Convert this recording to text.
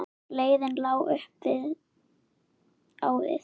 Leiðin lá upp á við.